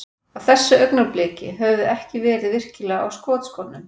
Á þessu augnabliki, höfum við ekki verið virkilega á skotskónum.